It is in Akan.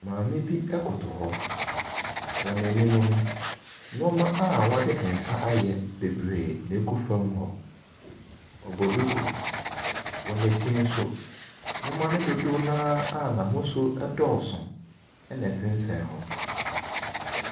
Maame bi koto hɔ. Wɔ n’anim no, nneɛma wɔde nsa ayɛ bebree na agu fam hɔ. Ɔbɔ duku. Wɔ n’akyi nso nneɛma no dodoɔ no ara a n’ahosuo dɔɔso na sensɛn hɔ.